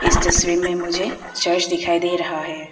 इस तस्वीर में मुझे चर्च दिखाई दे रहा है।